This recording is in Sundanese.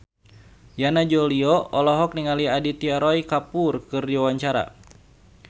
Yana Julio olohok ningali Aditya Roy Kapoor keur diwawancara